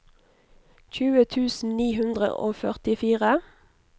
tjue tusen ni hundre og førtifire